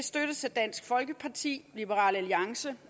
støttes af dansk folkeparti liberal alliance